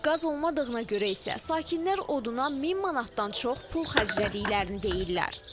Qaz olmadığına görə isə sakinlər oduna min manatdan çox pul xərclədiklərini deyirlər.